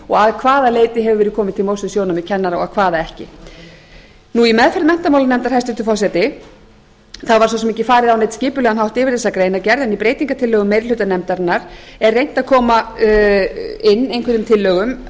að hvaða leyti hefur verið komið til móts við sjónarmið kennara og hvaða ekki í meðferð menntamálanefndar hæstvirtur forseti var svo sem ekki farið á neinn skipulegan hátt yfir þessa greinargerð en í breytingartillögum meiri hluta nefndarinnar er reynt að koma inn einhverjum tillögum